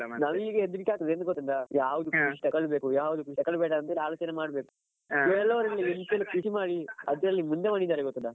ನಂಗೀಗ ಹೆದ್ರಿಕ್ಕೆ ಆಗ್ತದೆ ಎಂತ ಗೊತ್ತುಂಟಾ ಯಾವ್ದು ಕೃಷಿ ತಕೊಳ್ಲಬೇಕು ಯಾವ್ದು ಕೃಷಿ ತಕೊಳ್ಳ್ಬೇಡ ಅಂತ ಆಲೋಚನೆ ಮಾಡ್ಬೇಕು. ಕೆಲವ್ರೆಲ್ಲ ಎಂತೆಲ್ಲ ಕೃಷಿ ಮಾಡಿ ಅದ್ರಲ್ಲೆಲ್ಲಾ ಎಂತ ಮುಂದೆ ಬಂದಿದ್ದಾರೆ ಗೊತ್ತುಂಟಾ .